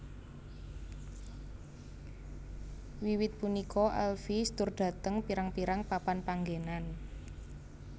Wiwit punika Elvis tur dhateng pirang pirang papan panggenan